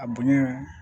A bonya